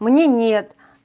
мне нет